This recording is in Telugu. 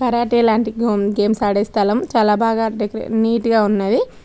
కరేటె లాంటి గేమ్స్ ఆడే స్థలం చాలా బాగా డెక్ నిట్ గా ఉంది.